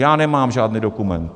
Já nemám žádný dokument.